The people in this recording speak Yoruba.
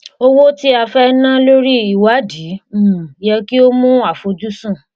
òwò tí a fẹ na lórí ìwádìí um yẹ kí ó mú àfojúsùn